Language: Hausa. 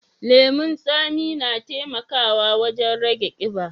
Lemun tsami na taimakawa wajen rage ƙiba.